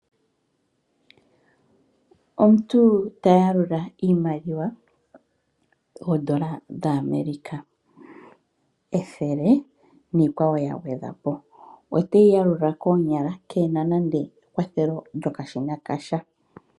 Omuntu ta yalula iimaliwa oondola dhaAmerica ethele niikwawo ya gwedhwa po. Oteyi ya lula koonyala ke na nande ekwathelo lyasha.